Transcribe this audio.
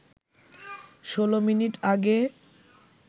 ১৬ minute আগে